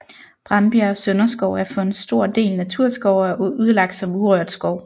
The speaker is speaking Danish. Brandbjerg Sønderskov er for en stor del naturskov og er udlagt som urørt skov